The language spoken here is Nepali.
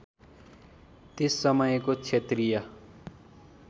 त्यस समयको क्षत्रिय